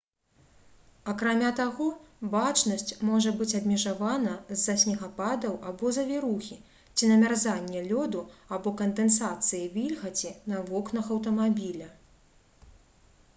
акрамя таго бачнасць можа быць абмежавана з-за снегападаў або завірухі ці намярзання лёду або кандэнсацыі вільгаці на вокнах аўтамабіля